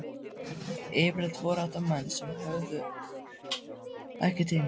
Yfirleitt voru þetta menn sem höfðuðu ekki til mín.